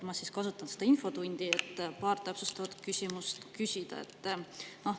Ma kasutan seda infotundi, et paar täpsustavat küsimust küsida.